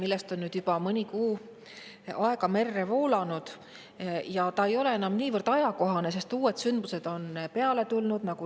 Sellest ajast on nüüd juba mõned kuud merre voolanud ja ei ole enam niivõrd ajakohane, sest uued sündmused on peale tulnud.